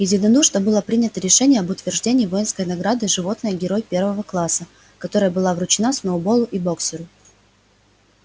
единодушно было принято решение об утверждении воинской награды животное герой первого класса которая была вручена сноуболлу и боксёру